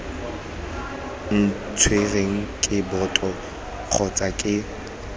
neetsweng ke boto kgotsa ke